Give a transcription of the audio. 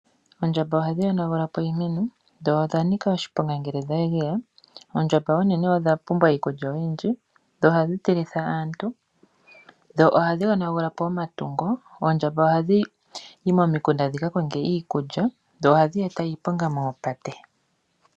Oondjamba ohadhi yonagula po iimeno dho odha nika oshiponga ngele dha geya. Oondjamba oonene odha pumbwa iikulya oyindji, dho ohadhi tilitha aantu, dho ohadhi yonagula po omayi go. Oondjamba ohadhi yi momikunda dhi ka konge iikulya dho ohadhi eta iiponga moopate.